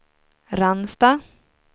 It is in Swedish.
Ransta